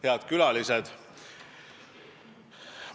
Head külalised!